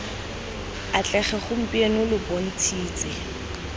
atlege gompieno lo bont shitse